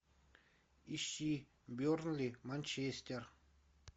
ищи бернли манчестер